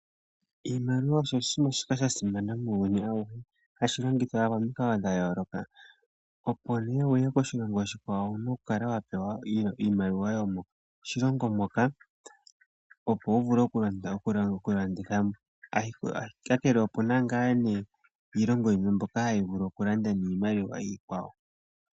Iimaliwa osho shimwe sha simana muuyuni awuhe. Hashi longithwa momikalo dha yooloka. Opo omuntu wuye koshilongo oshikwa ngoye wu kale wa pewa iimaliwa yomoshilongo moka opo wu vule oku landa ngiika ngele opu na ngaa nee iilongo yimwe mbyoka hayi vulu oku landa niimaliwa iikwawo.